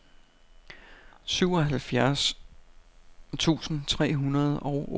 syvoghalvfjerds tusind tre hundrede og otteoghalvfems